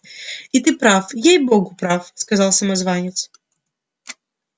и ты прав ей-богу прав сказал самозванец